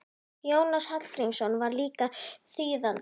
Jónas Hallgrímsson var líka þýðandi.